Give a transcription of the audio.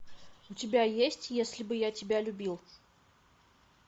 у тебя есть если бы я тебя любил